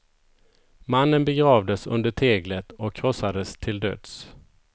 Mannen begravdes under teglet och krossades till döds.